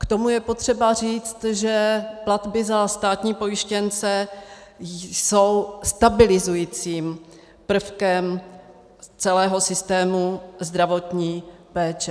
K tomu je potřeba říct, že platby za státní pojištěnce jsou stabilizujícím prvkem celého systému zdravotní péče.